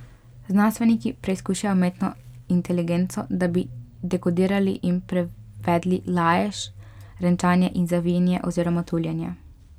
Znanstveniki preizkušajo umetno inteligenco, da bi dekodirali in prevedli lajež, renčanje in zavijanje oziroma tuljenje.